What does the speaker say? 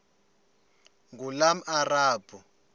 ngulomarabu